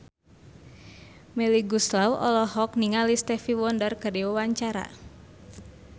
Melly Goeslaw olohok ningali Stevie Wonder keur diwawancara